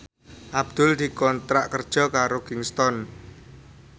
Abdul dikontrak kerja karo Kingston